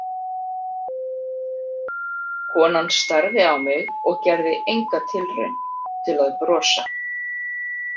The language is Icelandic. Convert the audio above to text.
Konan starði á mig og gerði enga tilraun til að brosa.